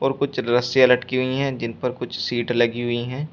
और कुछ रस्सियां लटकी हुई हैं जिन पर कुछ सीट लगी हुई हैं।